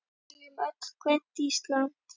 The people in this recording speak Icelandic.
Við viljum öll grænt Ísland.